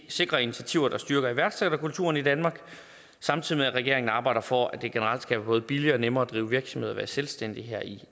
sikre initiativer der styrker iværksætterkulturen i danmark samtidig med at regeringen arbejder for at det generelt skal være både billigere og nemmere at drive virksomhed og være selvstændig her i